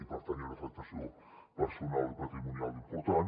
i per tant hi ha una afectació personal i patrimonial important